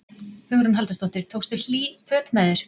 Hugrún Halldórsdóttir: Tókstu hlýt föt með þér?